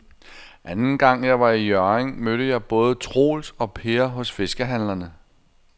Anden gang jeg var i Hjørring, mødte jeg både Troels og Per hos fiskehandlerne.